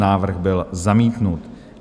Návrh byl zamítnut.